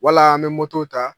Wala an bɛ moto ta